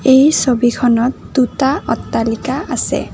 এই ছবিখনত দুটা অট্টালিকা আছে।